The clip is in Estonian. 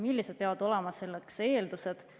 Millised eeldused peavad selleks olema?